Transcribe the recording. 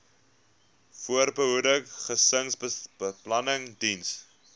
voorbehoeding gesinsbeplanning diens